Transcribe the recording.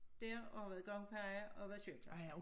Der og været gangpige og været sygeplejerske